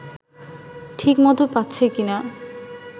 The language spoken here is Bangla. ঠিক মতো পাচ্ছে কিনা